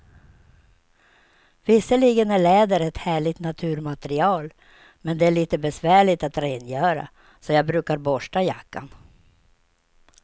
Visserligen är läder ett härligt naturmaterial, men det är lite besvärligt att rengöra, så jag brukar borsta jackan.